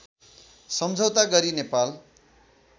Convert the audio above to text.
सम्झौता गरि नेपाल